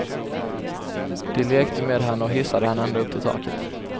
De lekte med henne och hissade henne ända upp till taket.